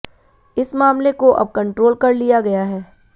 इस मामले को अब कंट्रोल कर लिया गया है